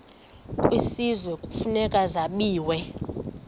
kwisizwe kufuneka zabiwe